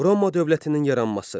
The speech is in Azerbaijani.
Roma dövlətinin yaranması.